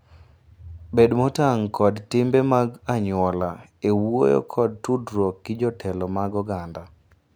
Bed motang' kod timbe mag anyuola e wuoyo kod tudruok gi jotelo mag oganda.